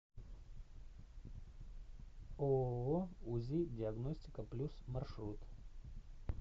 ооо узи диагностика плюс маршрут